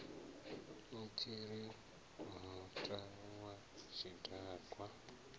a tshiri muta wa tshidakwa